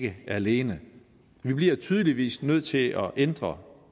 det alene vi bliver tydeligvis nødt til at ændre